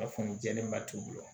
A fan jɛlenba t'u bolo